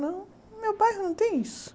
Não, meu bairro não tem isso.